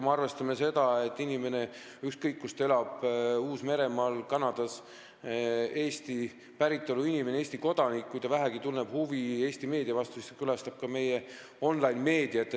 Arvestame seda, et Eesti päritolu inimene, Eesti kodanik – ükskõik kus ta elab, näiteks Uus-Meremaal või Kanadas – külastab ka meie online-meediat, kui ta vähegi Eesti meedia vastu huvi tunneb.